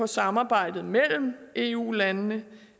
samarbejde mellem eu landene